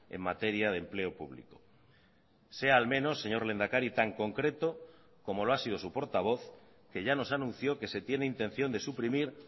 en materia de empleo público sea al menos señor lehendakari tan concreto como lo ha sido su portavoz que ya nos anunció que se tiene intención de suprimir